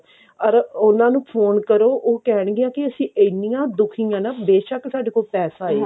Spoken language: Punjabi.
ਅਰ ਉਹਨਾਂ ਨੂੰ phone ਕਰੋ ਉਹ ਕਹਿਣਗੀਆਂ ਵੀ ਅਸੀਂ ਇੰਨੀਆਂ ਦੁਖੀ ਹਾਂ ਬੇਸ਼ਕ ਸਾਡੇ ਕੋਲ ਪੈਸਾ ਹੈ